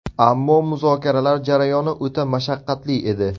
Ammo muzokaralar jarayoni o‘ta mashaqqatli edi.